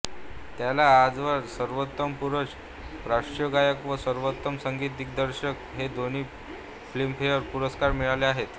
त्याला आजवर सर्वोत्तम पुरुष पार्श्वगायक व सर्वोत्तम संगीत दिग्दर्शक हे दोन्ही फिल्मफेअर पुरस्कार मिळाले आहेत